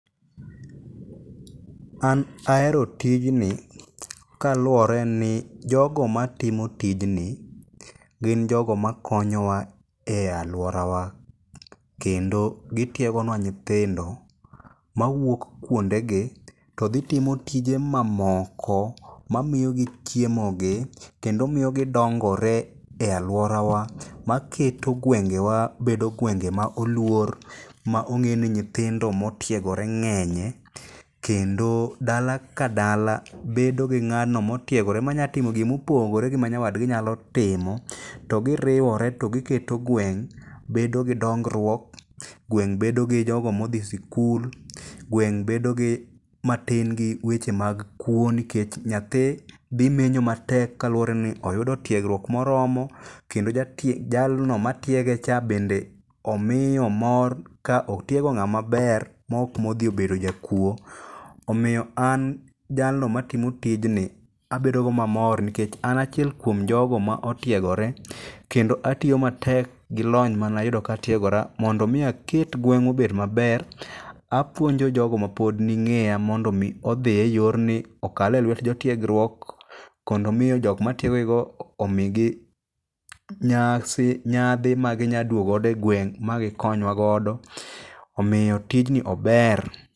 An ahero tijni kaluwore ni jogo matimo tijni gin jogo makonyowa e alworawa. Kendo gitiegonwa nyithindo mawuok kuonde gi to dhi timo tije mamoko ma miyogi chiemo gi kendo miyo gidongore e alworawa. Ma keto gwengewa bedo gwenge ma oluor ma ong'e ni nyithindo ma otiegore ng'enye. Kendo dala ka dala bedo gi ng'ano motiegore manyatimo gimopogore gi ma nyawadgi nyalo timo. To giriwore to giketo gweng' bedo gi dongruok, gweng' bedo gi jogo modhi sikul, gweng' bedo gi matin gi weche mag kuo nikech nyathi dhi menyo matek kaluwore ni oyudo tiegruok moromo. Kendo jatie, jalno matiege cha bende omiyo mor, ka otiego ng'ama ber maok modhi obedo jakuo. Omiyo an jalno matimo tijni abedogo mamor nikech an achiel kuom jogo ma otiegore. Kendo atiyo matek gi lony manayudo katiegora mondo mi aket gweng'wa obed maber. Apuonjo jogo ma pod ni ng'eya mondo mi odhi e yorni okal e lwet jo tiegruok, kondo miyo jokmatiegogigo omigi nyasi, nyadhi ma ginya duogo godo e gweng' ma gikonywa godo. Omiyo tijni ober.